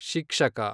ಶಿಕ್ಷಕ